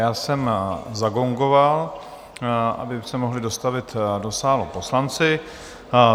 Já jsem zagongoval, aby se mohli dostavit do sálu poslanci.